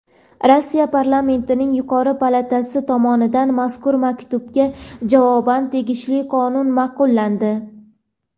Rossiya parlamentining yuqori palatasi tomonidan mazkur maktubga javoban tegishli qonun ma’qullandi.